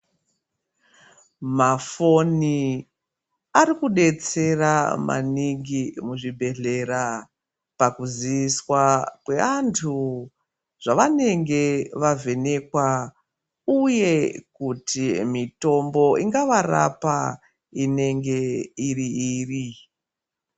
Mafoni arikudetsera maningi muzvibhedhlera pakuziswa kwe antu zvavanenge vavhenekwa. Uye kuti mitombo ingavarapa, inenge iri iriyi.